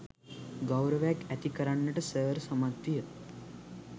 ගෞරවයක් ඇති කරන්නට සර් සමත්විය.